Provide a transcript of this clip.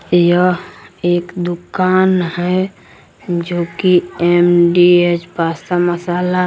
यह एक दुकान है जो की एम_डी_एच पास्ता मसाला--